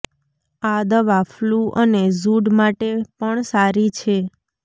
આ દવા ફલૂ અને ઝુડ માટે પણ સારી છે